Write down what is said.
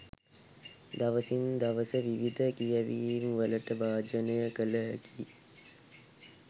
දවසින් දවස විවිධ කියැවීම්වලට භාජනය කළ හැකි